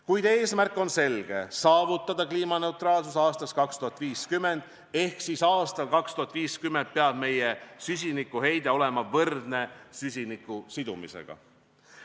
Kuid eesmärk on selge: saavutada kliimaneutraalsus aastaks 2050 ehk 2050 peab meie süsinikuheide olema võrdne süsiniku sidumisega.